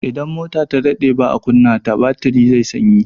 Idan mota ta daɗe baa kunna ta, batiri zai sanyi.